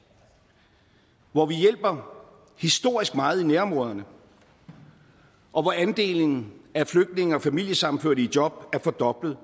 hvor vi hjælper historisk meget i nærområderne og hvor andelen af flygtninge og familiesammenførte i job er fordoblet